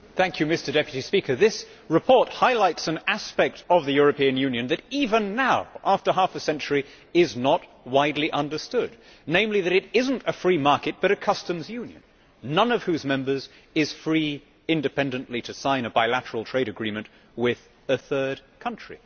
Mr President, this report highlights an aspect of the European Union that even now, after half a century, is not widely understood, namely that it is not a free market but a customs union, none of whose members is free independently to sign a bilateral trade agreement with a third country.